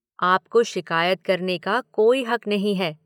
आपको शिकायत करने का कोई हक नहीं है।